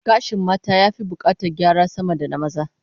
Gashin mata ya fi bukatar gyara sama da na maza